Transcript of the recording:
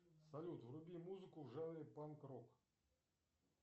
салют вруби музыку в жанре панк рок